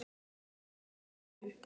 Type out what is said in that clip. Vertu Guði falinn.